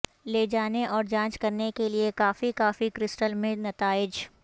لے جانے اور جانچ کرنے کے لئے کافی کافی کرسٹل میں نتائج